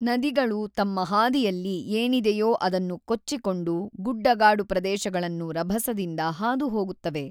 ನದಿಗಳು ತಮ್ಮ ಹಾದಿಯಲ್ಲಿ ಏನಿದೆಯೋ ಅದನ್ನು ಕೊಚ್ಚಿಕೊಂಡು, ಗುಡ್ಡಗಾಡು ಪ್ರದೇಶಗಳನ್ನು ರಭಸದಿಂದ ಹಾದುಹೋಗುತ್ತವೆ.